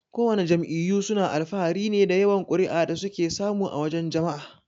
Kowana jam'iyyu suna alfahari ne da yawan kuri'a da suke samu a wajan jama'a.